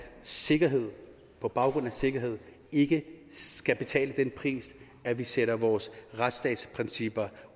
sikkerhed på baggrund af sikkerhed ikke skal betale den pris at vi sætter vores retsstatsprincipper